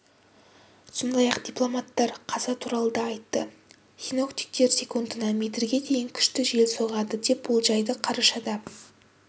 сондай-ақ дипломаттар қаза туралы да айтты синоптиктер секундына метрге дейін күшті жел соғады деп болжайды қарашада